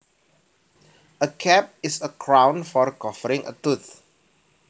A cap is a crown for covering a tooth